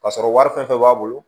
Ka sɔrɔ wari fɛn fɛn b'a bolo